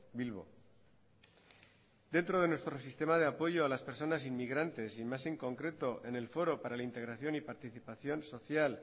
bilbo dentro de nuestro sistema de apoyo a las personas inmigrantes y más en concreto en el foro para la integración y participación social